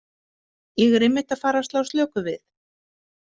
Ég er einmitt að fara að slá slöku við.